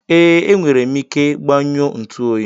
Ee, enwere m ike gbanyụọ ntu oyi.